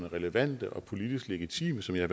relevante og politisk legitime som jeg